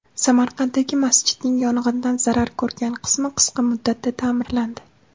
Samarqanddagi masjidning yong‘indan zarar ko‘rgan qismi qisqa muddatda ta’mirlandi.